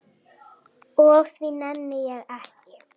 Og því nenni ég ekki.